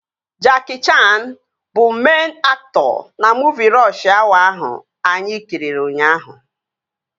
Jackie Chaan bụ meịn aktọ na muuvi Rọsh Awa ahụ anyị kiri ụnyaahụ